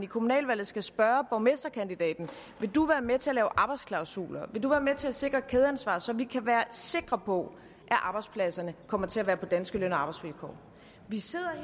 kommunalvalget skal spørge borgmesterkandidaten vil du være med til at lave arbejdsklausuler vil du være med til at sikre kædeansvar så vi kan være sikre på at arbejdspladserne kommer til at være på danske løn og arbejdsvilkår vi sidder